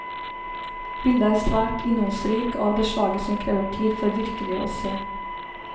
Bildet er svært innholdsrik, og av det slaget som krever tid for virkelig å se.